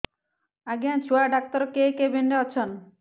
ଆଜ୍ଞା ଛୁଆ ଡାକ୍ତର କେ କେବିନ୍ ରେ ଅଛନ୍